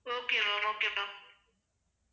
okay ma'am okay ma'am